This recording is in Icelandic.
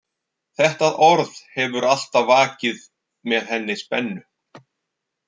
Þetta orð hefur alltaf vakið með henni spennu.